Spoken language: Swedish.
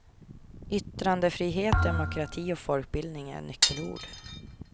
Yttrandefrihet, demokrati och folkbildning är nyckelord.